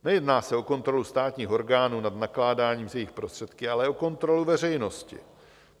Nejedná se o kontrolu státních orgánů nad nakládáním s jejich prostředky, ale o kontrolu veřejnosti.